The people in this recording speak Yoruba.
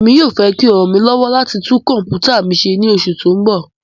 Emi yoo fẹ ki o ran mi lọwọ lati tun kọmputa mi ṣe ni oṣu ti n bọ